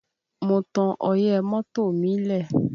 Mo tan ọyẹ́ mọ́tò mi lẹ̀